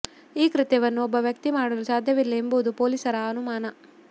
ಈ ಕೃತ್ಯವನ್ನು ಒಬ್ಬ ವ್ಯಕ್ತಿ ಮಾಡಲು ಸಾಧ್ಯವಿಲ್ಲ ಎಂಬುದು ಪೊಲೀಸರ ಅನುಮಾನ